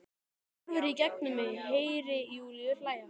En hún horfir í gegnum mig- Heyri Júlíu hlæja.